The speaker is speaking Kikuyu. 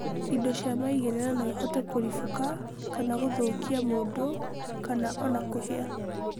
indo cia maigĩrĩra no ihote kũribũka kana gũthũkia mũndũ kana ona kũhĩa.